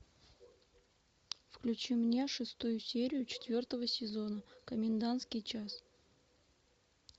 включи мне шестую серию четвертого сезона комендантский час